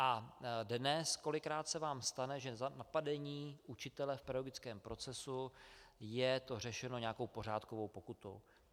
A dnes kolikrát se vám stane, že za napadení učitele v pedagogickém procesu je to řešeno nějakou pořádkovou pokutou.